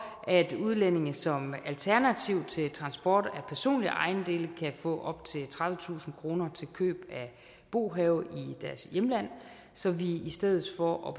at udlændinge som alternativ til transport af personlige ejendele kan få op til tredivetusind kroner til køb af bohave i deres hjemland så i stedet for at